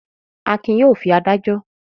Akin yóò fi adájọ́.